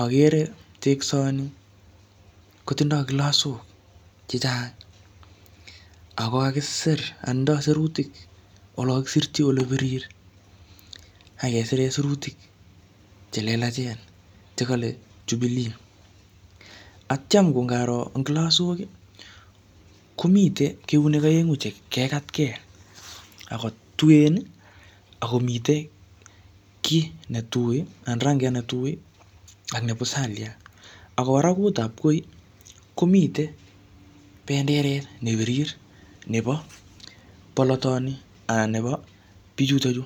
agere teksoni kotindoi klasok chechang. Ako kakisir anan tindoi sirutik olo kakisirchi ole birir, akesire sirutik che lelachen che kale Jubilee. Atyam ko ngaro eng klasok, komite keunek aengu che kekatke. Ako tuen, akomitei kiy ne tui, anan rangiat ne tui, ak ne pusaliat. Ako barakut ap koi, komitei penderet ne birir nebo bolotoni anan nebo bichutochu